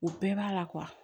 O bɛɛ b'a la